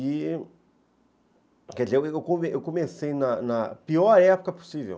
E... Quer dizer, eu eu eu comecei na na pior época possível.